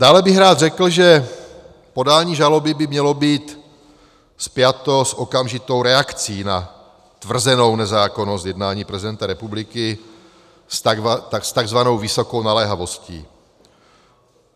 Dále bych rád řekl, že podání žaloby by mělo být spjato s okamžitou reakcí na tvrzenou nezákonnost jednání prezidenta republiky s takzvanou vysokou naléhavostí.